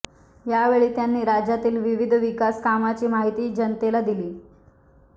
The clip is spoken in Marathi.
यावेळी त्यांनी राज्यातील विविध विकास कामांची माहिती जनतेला दिली